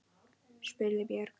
spurði Björg.